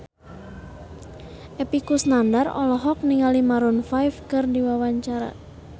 Epy Kusnandar olohok ningali Maroon 5 keur diwawancara